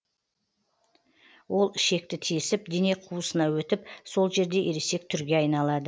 ол ішекті тесіп дене қуысына өтіп сол жерде ересек түрге айналады